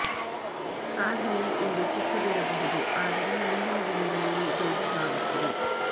ಸಾಧನೆ ಇಂದು ಚಿಕ್ಕದು ಇರಬಹುದು ಆದರೆ ಮುಂದಿನ ದಿನಗಳಲ್ಲಿ ದೊಡ್ಡದು ಆಗುತ್ತದೆ